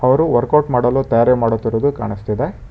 ಅವರು ವರ್ಕೌಟ್ ಮಾಡಲು ತಯಾರಿ ಮಾಡುತ್ತಿರುವುದು ಕಾಣಸ್ತಿದೆ.